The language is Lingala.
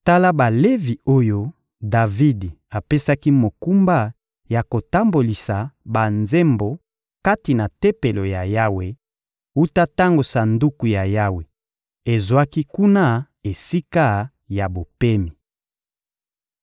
Tala Balevi oyo Davidi apesaki mokumba ya kotambolisa banzembo kati na Tempelo ya Yawe, wuta tango Sanduku ya Yawe ezwaki kuna esika ya bopemi.